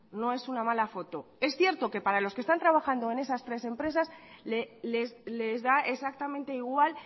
no es una mala foto es cierto que para los que están trabajando en esas tres empresas les da exactamente igual